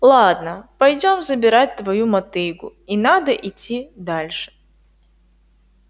ладно пойдём забирать твою мотыгу и надо идти дальше